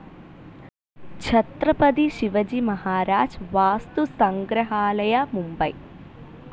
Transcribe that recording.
Chhatrapati Shivaji Maharaj Vastu Sangrahalaya, Mumbai